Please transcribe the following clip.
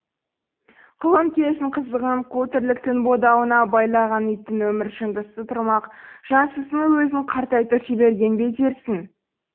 құлын кездің қызығын қу тірліктің бодауына байлаған иттің өмір жындысы тұрмақ жансызының өзін қартайтып жіберген бе дерсің